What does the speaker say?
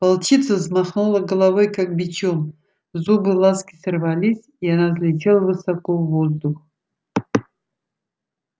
волчица взмахнула головой как бичом зубы ласки сорвались и она взлетела высоко в воздух